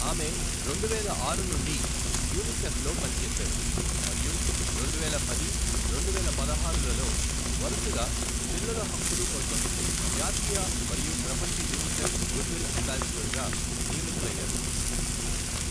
ఆమె రెండువేల ఆరు నుండి యూనిసెఫ్లో పనిచేశారు మరియు రెండువేల పది, రెండువేల పదహారులలో వరుసగా పిల్లల హక్కులు కోసం జాతీయ మరియు ప్రపంచ యూనిసెఫ్ గుడవిల్ అంబాసిడరుగా నియమితులయ్యారు.